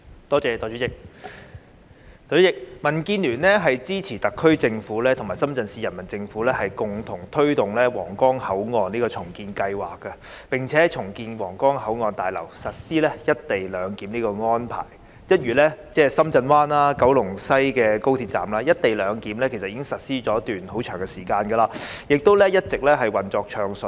代理主席，民主建港協進聯盟支持特區政府和深圳市人民政府共同推動皇崗口岸重建計劃，並在重建後的皇崗口岸大樓實施"一地兩檢"的安排，一如深圳灣、高鐵西九龍站，"一地兩檢"安排其實已實施一段很長的時間，亦一直運作暢順。